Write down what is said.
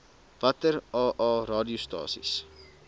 watter aa radiostasies